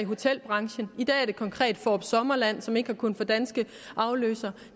hotelbranchen i dag er det konkret fårup sommerland som ikke har kunnet få danske afløsere